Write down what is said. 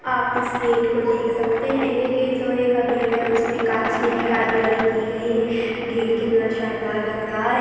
आप इस गेट को देख सकते है ये गेट लोहे का गेट है और इसमें कांच की कारीगिरी की गयी है गेट कितना शानदार लग रहा है।